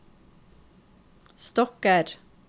stokker